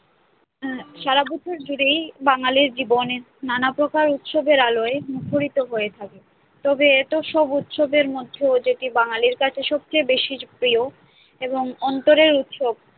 সারা বছর জুড়েই বাঙালির জীবন নানা প্রকার উৎসবের আলোয় মুখরিত হয়ে থাকে তবে এত সব উৎসবের মধ্যেও যেটি বাঙালির কাছে সবচেয়ে বেশি প্রিয় এবং অন্তরের উৎসব